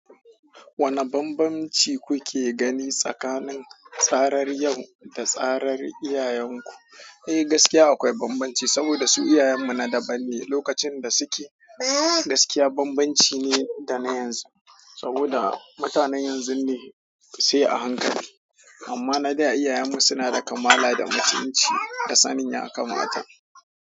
Wanne bambanci kuke gani tsakanin tsarar yau da tsarar iyayen ku? Eh, gaskiya akwai bambamci saboda su iyayen mu na daban ne, lokacin da suke gaskiya bambamci ne da na yanzu. Saboda mutanen yanzun ne sai a hankali amma na da iyayen mu suna da kamala da mutunci da sanin ya kamata.